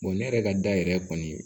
ne yɛrɛ ka da yɛrɛ kɔni